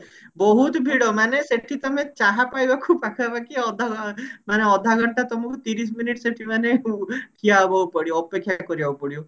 ବହୁତ ଭିଡ ମାନେ ସେଠି ତମେ ଚାହା ପାଇବାକୁ ପାଖାପାଖି ଅଧ ମାନେ ଅଧାଘଣ୍ଟା ତମକୁ ତିରିଶ minute ସେଠି ମାନେ ଠିଆ ହେବାକୁ ପଡିବ ଅପେକ୍ଷା କରିବାକୁ ପଡିବ